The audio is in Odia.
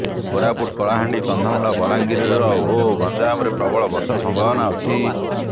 କୋରାପୁଟ କଳାହାଣ୍ଡି କନ୍ଧମାଳ ବଲାଙ୍ଗିର ଓ ଗଞ୍ଜାମରେ ପ୍ରବଳ ବର୍ଷା ସମ୍ଭାବନା ଅଛି